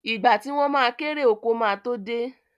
Ìgbà tí wọ́n ma kérè oko ma tó dé